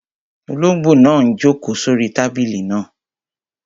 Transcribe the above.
Olóngbò náà n jòkó sórí tábìlì náà